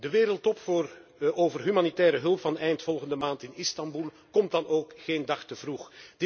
De Wereldtop over humanitaire hulp van eind volgende maand in Istanbul komt dan ook geen dag te vroeg.